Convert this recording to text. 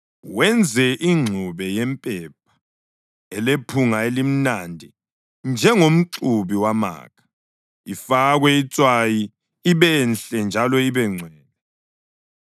wenze ingxube yempepha elephunga elimnandi njengomxubi wamakha, ifakwe itswayi ibenhle njalo ibe ngcwele.